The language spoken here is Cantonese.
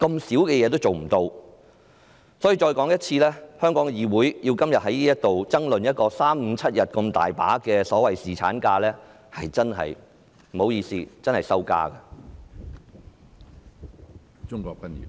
所以，我再多說一遍，香港的議會今天在這裏爭論3、5、7天這麼細微的所謂侍產假，真的不好意思，這是一種羞辱。